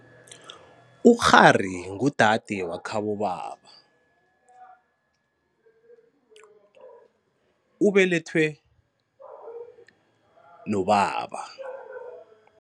Ukghari ngudade wakhabobaba ubelethwe nobaba.